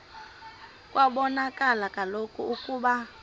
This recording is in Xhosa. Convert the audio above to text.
kwabonakala kaloku ukuba